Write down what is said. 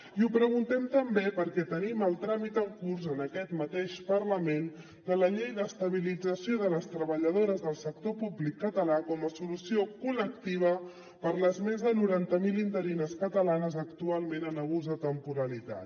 i ho preguntem també perquè tenim el tràmit en curs en aquest mateix parlament de la llei d’estabilització de les treballadores del sector públic català com a solució col·lectiva per les més de noranta mil interines catalanes actualment en abús de temporalitat